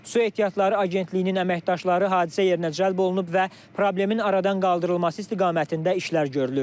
Su ehtiyatları Agentliyinin əməkdaşları hadisə yerinə cəlb olunub və problemin aradan qaldırılması istiqamətində işlər görülür.